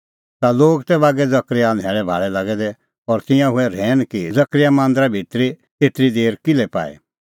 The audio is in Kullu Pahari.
ता लोग तै बागै जकरयाह न्हैल़ैभाल़ै लागै दै और तिंयां हुऐ रहैन कि जकरयाह मांदरा भितरी एतरी देर किल्है पाई